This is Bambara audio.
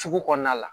Sugu kɔnɔna la